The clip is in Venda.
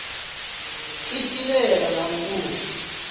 i pilela na u vhusa